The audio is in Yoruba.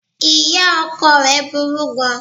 Ìya ọkọ rẹ̀ burú gan an